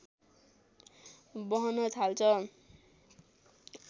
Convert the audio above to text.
बहन थाल्छ